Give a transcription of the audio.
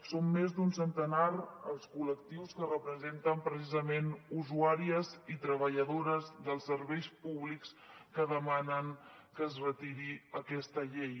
són més d’un centenar els col·lectius que representen precisament usuàries i treballadores dels serveis públics que demanen que es retiri aquesta llei